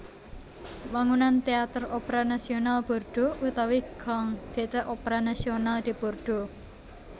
Wangunan Téater Opera Nasional Bordeaux utawi Grand Theatre Opera National de Bordeaux